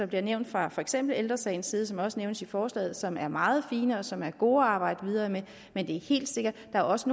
blev nævnt fra for eksempel ældre sagens side og som også nævnes i forslaget som er meget fine og som er gode at arbejde videre med men det er helt sikkert at der også